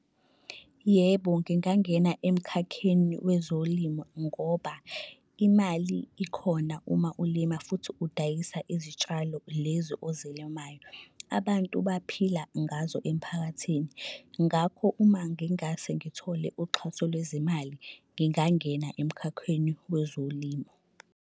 Yebo, ngingangena emkhakheni wezolimo ngoba imali ikhona uma ulima futhi udayisa izitshalo lezi ozilimayo. Abantu baphila ngazo emphakathini. Ngakho uma ngingase ngithole uxhaso lwezimali, ngingangena emkhakheni wezolimo.